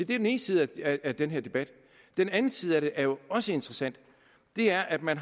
den ene side af den her debat den anden side af det er jo også interessant det er at man